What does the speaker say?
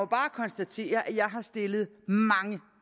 bare konstatere at jeg har stillet mange